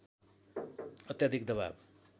अत्याधिक दवाब